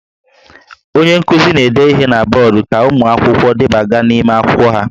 Onye nkuzi na-ede ihe na bọọdụ ka ụmụ akwụkwọ debaga n'ime akwụkwọ ha